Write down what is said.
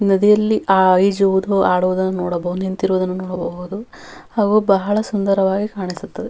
ಹಾಗೂ ಮನುಷ್ಯರು ಬಹಳ ಆಆಹ್ ಆ ನೀರಿ ನದಿಯಲ್ಲಿ ಆ ಓಡಾಡುತ್ತಾ --